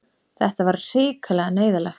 Þetta var hrikalega neyðarlegt.